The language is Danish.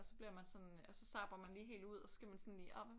Og så bliver man sådan og så zapper man lige helt ud og så skal man sådan lige åh hvad